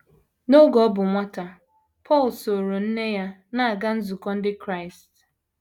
N’oge ọ bụ nwata, Paul sooro nne ya na - aga nzukọ ndị Krịast.